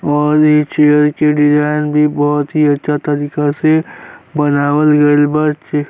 और इ चैयर के डिज़ाइन भी बहुत ही अच्छा तरीका से बनावल गईल बा। चे --